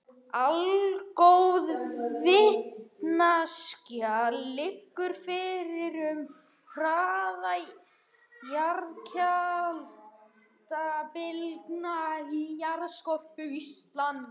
Allgóð vitneskja liggur fyrir um hraða jarðskjálftabylgna í jarðskorpu Íslands.